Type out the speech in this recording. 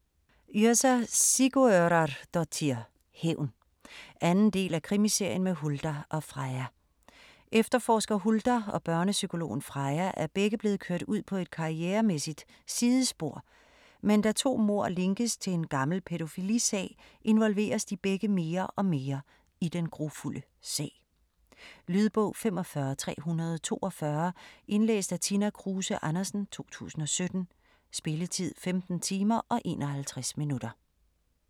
Yrsa Sigurðardóttir: Hævn 2. del af Krimiserien med Huldar og Freyja. Efterforsker Huldar og børnepsykologen Freyja er begge blevet kørt ud på et karrieremæssigt sidespor, men da to mord linkes til en gammel pædofilisag involveres de begge mere og mere i den grufulde sag. Lydbog 45342 Indlæst af Tina Kruse Andersen, 2017. Spilletid: 15 timer, 51 minutter.